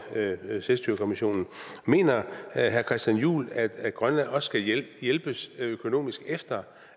selvstyrekommissionen mener herre christian juhl at grønland også skal hjælpes økonomisk efter